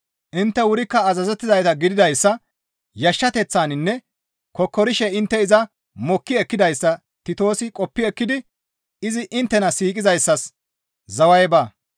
Intte wurikka azazettizayta gididayssa, yashshateththaninne kokkorishe intte iza mokki ekkidayssa Titoosi qoppi ekkidi izi inttena siiqizayssas zaway baa.